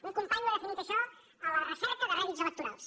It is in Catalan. un company ha definit això a la recerca de rèdits electorals